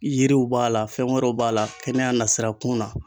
Yiriw b'a la fɛn wɛrɛw b'a la kɛnɛya nasira kun na.